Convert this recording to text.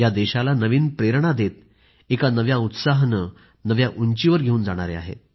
या देशाला नवीन प्रेरणा देत नव्या उत्साहानं एका नव्या उंचीवर घेवून जातील